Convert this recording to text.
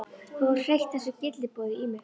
Þú hefur hreytt þessu gylliboði í mig.